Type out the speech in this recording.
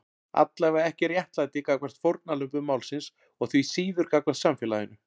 Allavega ekki réttlæti gagnvart fórnarlömbum málsins og því síður gagnvart samfélaginu.